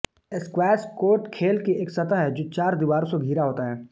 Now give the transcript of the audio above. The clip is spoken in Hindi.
स्क्वैश कोर्ट खेल की एक सतह है जो चार दीवारों से घिरा होता है